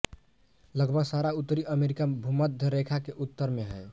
लगभग सारा उत्तरी अमरीका भूम्ध्य रेखा के उत्तर में है